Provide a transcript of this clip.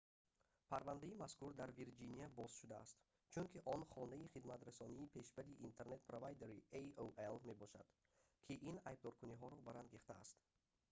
парвандаи мазкур дар вирҷиния боз шудааст чунки он хонаи хидматрасони пешбари интернет-провайдери aol мебошад ки ин айбдоркуниҳоро барангехтааст